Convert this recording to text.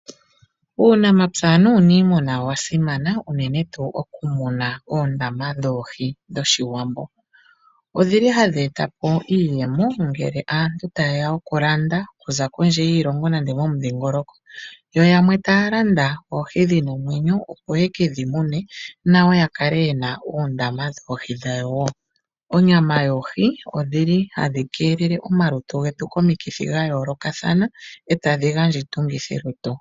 Uunamapya nuuniimuna owa simana unene tuu okumuna oondama dhoohi dhoshiwambo. Odhili ha dhi eta po iiyemo ngele aantu tayeya oku landa okuza kondje yiilongo nenge momudhingoloko. Yo yamw ta ya landa oohi dhina omwenyo opo ye ke dhi mune nayo ya kale yena oondama dhoohi dhawo. Onayam yoohi oha yi keelele omalutu getu komikithi dhayooloka ee ta dhi gandja iitungithilutu.